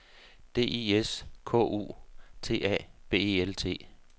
D I S K U T A B E L T